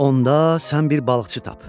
Onda sən bir balıqçı tap.